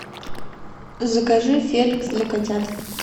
закажи феликс для котят